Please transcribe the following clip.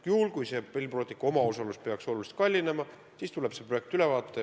Juhul kui Rail Balticu omaosalus peaks oluliselt kasvama, siis tuleb see projekt üle vaadata.